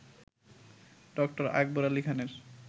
ড. আকবর আলি খানের